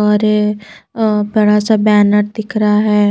और अ बड़ा सा बैनर दिख रहा है।